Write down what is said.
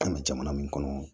Ka na jamana min kɔnɔ